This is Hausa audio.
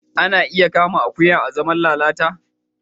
Ana iya amfani da akuya azaman lalata